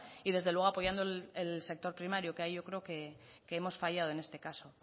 y desde luego apoyando el sector primario que ahí yo creo que hemos fallado en este caso